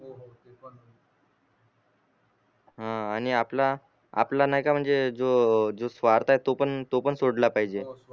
ह आणि आपला आपला ही का म्हणजे जो जो स्वार्थ आहे तो पण तो पण सोडला पाहिजे